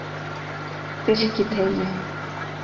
Birkiteigi